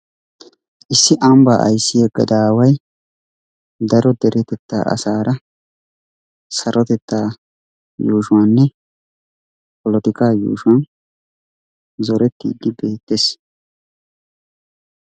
Issi ambaa ayssiya gadaaway daro deretetaa asaara sarotetaa yuushuwaninne polotikaa yuushuwan zorettiiddi beettes.